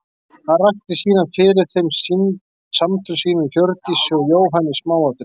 Hann rakti síðan fyrir þeim samtöl sín við Hjördísi og Jóhann í smáatriðum.